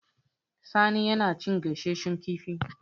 Sani yana cin gasasshen kifi